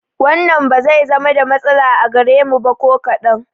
Wannan ba zai zama da matsala a gare mu ba ko kaɗan